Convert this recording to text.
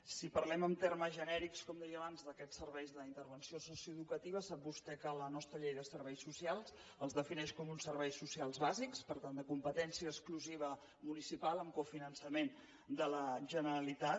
si parlem en termes genèrics com deia abans d’aquests serveis d’intervenció socioeducativa sap vostè que la nostra llei de serveis socials els defineix com uns serveis socials bàsics per tant de competència exclusiva municipal amb cofinançament de la generalitat